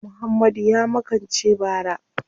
Muhammadu ya makance bara.